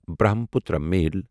Brahmaputra میل